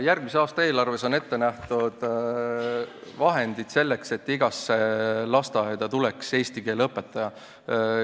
Järgmise aasta eelarves on ette nähtud vahendid selleks, et igasse lasteaeda tuleks eesti keele õpetaja.